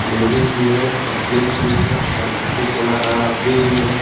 Ladies भी है और जेन्स भी है और कोकोकोला का फ्रिज भी है।